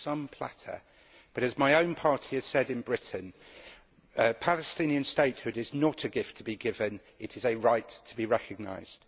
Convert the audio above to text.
Some platter! But, as my own party has said in Britain, Palestinian statehood is not a gift to be given, it is a right to be recognised.